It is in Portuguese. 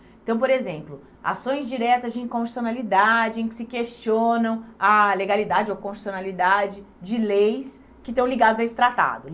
Então, por exemplo, ações diretas de inconstitucionalidade em que se questionam a legalidade ou constitucionalidade de leis que estão ligadas a esse tratado.